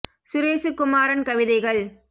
சுரேசுகுமாரன் கவிதைகள்